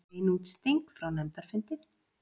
Bein útsending frá nefndarfundi